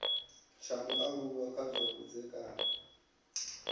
tsha mualuwa kha zwa vhudzekani